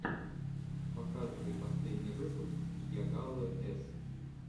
показывай последний выпуск йагалы с